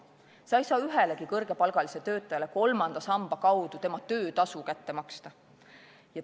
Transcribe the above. Sa ei saa ühelegi kõrgepalgalisele töötajale kolmanda samba kaudu tema töötasu välja maksta.